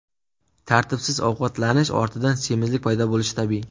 Tartibsiz ovqatlanish ortidan semizlik paydo bo‘lishi tabiiy.